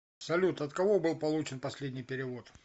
салют от кого был получен последний перевод